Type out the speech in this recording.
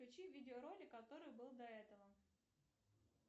включи видеоролик который был до этого